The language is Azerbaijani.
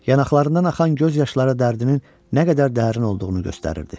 Yanaqlarından axan göz yaşları dərdinin nə qədər dərin olduğunu göstərirdi.